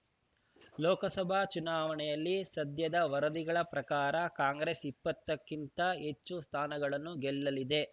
ಲೋಕಸಭಾ ಚುನಾವಣೆಯಲ್ಲಿ ಸದ್ಯದ ವರದಿಗಳ ಪ್ರಕಾರ ಕಾಂಗ್ರೆಸ್ ಇಪ್ಪತ್ತಕ್ಕಿಂತ ಹೆಚ್ಚು ಸ್ಥಾನಗಳನ್ನು ಗೆಲ್ಲಲಿದೆ